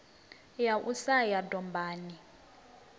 ya u sa ya dombani